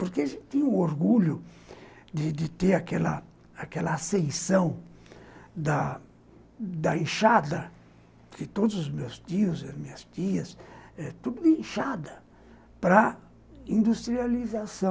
Porque a gente tinha o orgulho de de ter aquela ascensão da da inchada, que todos os meus tios e as minhas tias eh, tudo de inchada, para a industrialização.